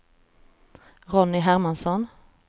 Ronny Hermansson